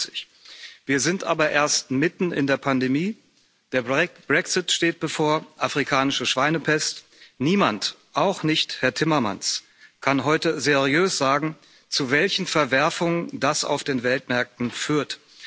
55 Wir sind aber erst mitten in der Pandemie, der Brexit steht bevor, afrikanische Schweinepest, niemand, auch nicht Herr Timmermans, kann heute seriös sagen, zu welchen Verwerfungen das auf den Weltmärkten führt.